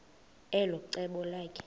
elo cebo lakhe